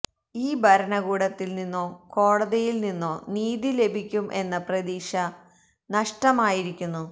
ഈ ഭരണകൂടത്തില് നിന്നോ കോടതിയില് നിന്നോ നീതി ലഭിക്കും എന്ന പ്രതീക്ഷ നഷ്ടമായിരിക്കുന്നു